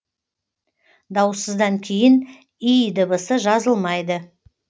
дауыссыздан кейін й дыбысы жазылмайды